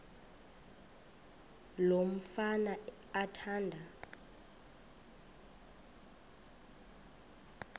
lo mfana athanda